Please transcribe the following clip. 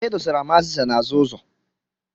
E dosara m azịza n'azụ ụzọ.